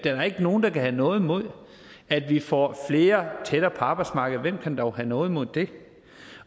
er jo ikke nogen der kan have noget imod at vi får flere tættere på arbejdsmarkedet hvem kan dog have noget imod det